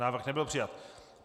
Návrh nebyl přijat.